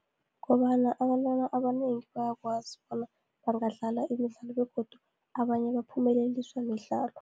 Kobana abantwana abanengi bayakwazi bona, bangadlala imidlalo, begodu abanye baphumeleliswa midlalo.